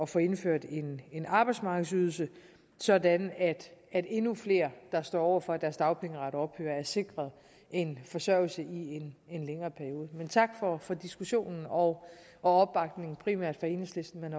få indført en arbejdsmarkedsydelse sådan at endnu flere der står over for at deres dagpengeret ophører er sikret en forsørgelse i en længere periode tak for for diskussionen og opbakningen primært fra enhedslisten men